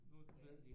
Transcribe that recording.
Nu har ud været